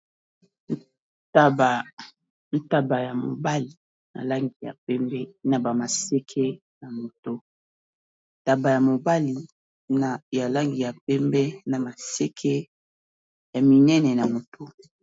Ntaba, Nntaba ya mobali ya langi ya mpembe naba maseke na mutu. Ntaba ya mobali ya langi ya pembe na maseke ya minene na moto.